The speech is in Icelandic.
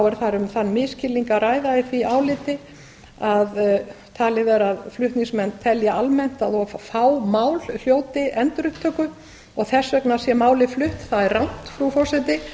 er þar um þann misskilning að ræða í því áliti að talið er að flutningsmenn telji almennt að of fá mál hljóti endurupptöku og þess vegna sé málið flutt það er rangt frú forseti